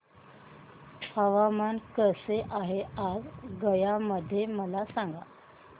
हवामान कसे आहे आज गया मध्ये मला सांगा